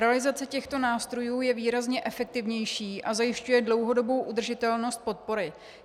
Realizace těchto nástrojů je výrazně efektivnější a zajišťuje dlouhodobou udržitelnost podpory.